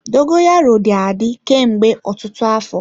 Dogoyaro dị adị kemgbe ọtụtụ afọ.